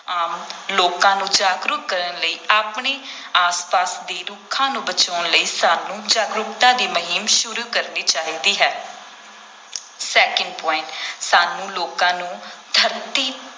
ਆਮ ਲੋਕਾਂ ਨੂੰ ਜਾਗਰੂਕ ਕਰਨ ਲਈ, ਆਪਣੇ ਆਸ ਪਾਸ ਦੇ ਰੁੱਖਾਂ ਨੂੰ ਬਚਾਉਣ ਲਈ ਸਾਨੂੰ ਜਾਗਰੂਕਤਾ ਦੀ ਮੁਹਿੰਮ ਸ਼ੁਰੂ ਕਰਨੀ ਚਾਹੀਦੀ ਹੈ second point ਸਾਨੂੰ ਲੋਕਾਂ ਨੂੰ ਧਰਤੀ